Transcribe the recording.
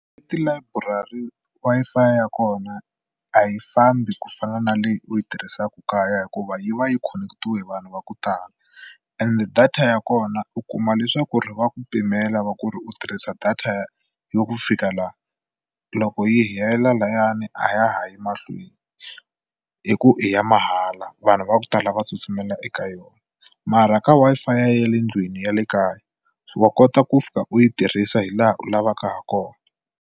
Etilayiburari Wi-Fi ya kona a yi fambi ku fana na leyi u yi tirhisaka kaya hikuva yi va yi khoneketile vanhu va ku tala and data ya kona u kuma leswaku ri va ku pimela va ku ri u tirhisa data yo ku fika laha loko yi hela lahani a ya ha yi mahlweni hi ku i ya mahala vanhu va ku tala va tsutsumela eka yona mara ka Wi-Fi ya le ndlwini ya le kaya wa kota ku fika u yi tirhisa hi laha u lavaka hakona.